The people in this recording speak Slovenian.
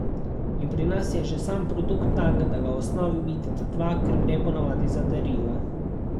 In pri nas je že sam produkt tak, da ga v osnovi vidita dva, ker gre ponavadi za darila.